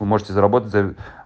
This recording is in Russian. вы можете заработать за